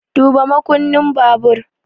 Duba makunnin babur!